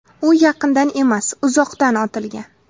U yaqindan emas, uzoqdan otilgan.